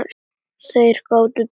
Þeir gátu treyst hvor öðrum.